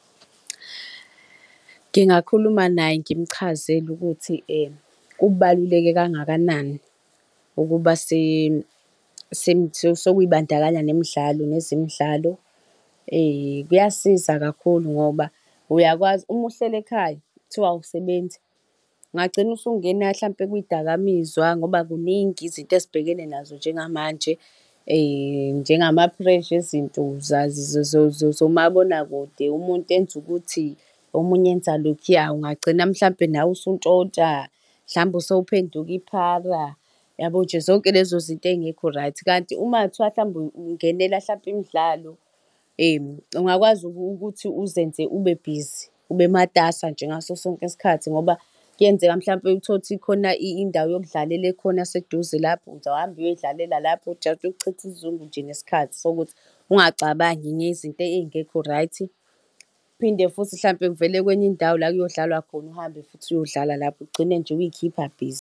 Ngingakhuluma naye ngimchazele ukuthi kubaluleke kangakanani ukuba sokuy'bandakanya nemidlalo nezemidlalo. Kuyasiza kakhulu ngoba uyakwazi uma uhleli ekhaya kuthiwa awusebenzi ungagcina usungena mhlampe kwidakamizwa ngoba kuningi izinto ezibbhekene nazo njengamanje njengama-pressure ezinto zomabonakude umuntu enze ukuthi omunye enza lokhuya. Ungagcina mhlampe nawe usuntshontsha mhlambe sowuphenduka iphara yabo nje zonke lezo izinto ezingekho right, kanti uma kungathiwa mhlawumbe ungenela mhlampe imidlalo ungakwazi ukuthi uzenze ube busy ube matasa nje ngaso sonke isikhathi ngoba kuyenzeka mhlampe uthole ukuthi kukhona indawo yokudlalela ekhona eseduze lapho uzohamba uyodlalela lapho just ukuchitha isizungu nje, nesikhathi sokuthi ungacabangi ngezinto ezingekho right. Uphinde futhi mhlawumpe kuvele kwenye indawo la kuyodlalwa khona uhambe futhi uyodlala lapho ugcine nje uy'khipha busy.